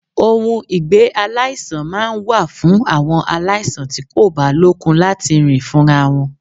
Ohun ìgbé-aláìsàn máa ń wà fún àwọn aláìsàn tí kò bá lókun láti rìn fúnra wọn.